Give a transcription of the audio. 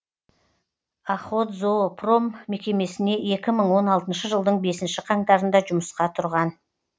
охотзоопром мекемесіне екі мың он алтыншы жылдың бесінші қаңтарында жұмысқа тұрған